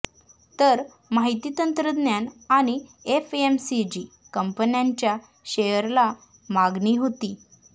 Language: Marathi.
तर माहिती तंत्रज्ञान आणि एफएमसीजी कंपन्यांच्या शेअरला मागणी होती